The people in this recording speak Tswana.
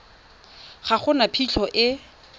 ga go na phitlho e